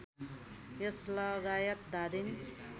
यस लगायत धादिङ